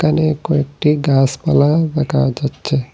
এখানে কয়েকটি গাসপালা দেখা যাচ্ছে।